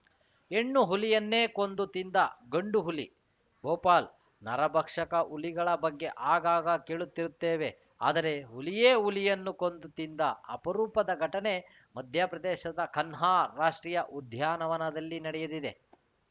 ಹೆಣ್ಣು ಹುಲಿಯನ್ನೇ ಕೊಂದು ತಿಂದ ಗಂಡು ಹುಲಿ ಭೋಪಾಲ್‌ ನರಭಕ್ಷಕ ಹುಲಿಗಳ ಬಗ್ಗೆ ಆಗಾಗ ಕೇಳುತ್ತಿರುತ್ತೇವೆ ಆದರೆ ಹುಲಿಯೇ ಹುಲಿಯನ್ನು ಕೊಂದು ತಿಂದ ಅಪರೂಪದ ಘಟನೆ ಮಧ್ಯಪ್ರದೇಶದ ಕನ್ಹಾ ರಾಷ್ಟ್ರೀಯ ಉದ್ಯಾನವನದಲ್ಲಿ ನಡೆದಿದೆ